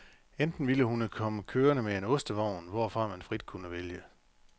Enten ville hun komme kørende med en ostevogn, hvorfra man frit kunne vælge.